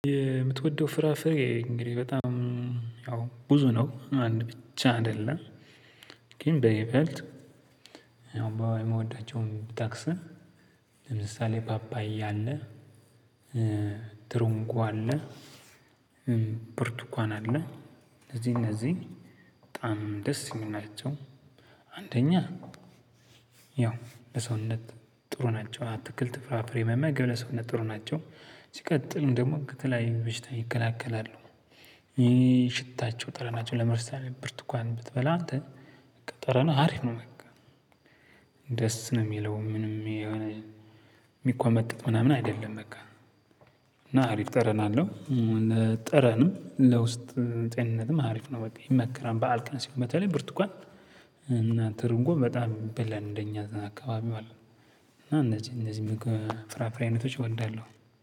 የምትወደው ፍራፍሬ እንግዲህ በጣም ያው ብዙ ነው አንድ ብቻ አይደለም ግን በይበልጥ የምወዳቸውን ብጠቅስም ለምሳሌ ፓፓየ አለ ትርንጎ አለ ብርቱካን አለ እነዚ እነዚ በጣም ደስ ሚሉ ናቸው። አንደኛ ያው በሰውነት ጥሩ ናቸው። አትክልት ፍራፍሬ መመገብ ለሰውነት ጥሩ ናቸው ሲቀጥልም ደግሞ ከተለያዩ በሽታ ይከላከላሉ። ይሄ ሽታቸው ጠረናቸው ለምሳሌ ብርቱካን ብትበላ ጠ ጠረንህ ሀሪፍ ነው። በቃ ደስ ነው የሚለው ምንም የሆነ የሚኮመጥጥ ምናምን አይደለም። በቃ እና አሪፍ ጠረን አለው። ጠረንም ለውስጥ ጤንነትም አሪፍ ነው በቃ ይመከራል። በዓል ቀን በተለይ ብርቱካን እና ትርንጎ በጣም ይበላል እንደኛ አካባቢ ማለት ነው። እና እንደዚህ እንደዚህ ፊራፍሬ አይነቶች እወዳለው።